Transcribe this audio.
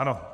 Ano.